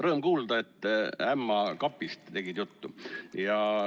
Rõõm kuulda, et tegid ämma kapist juttu.